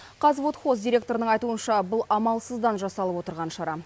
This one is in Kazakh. қазводхоз директорының айтуынша бұл амалсыздан жасалып отырған шара